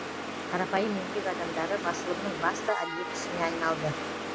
қарапайым еңбек адамдары басылымның басты объектісіне айналды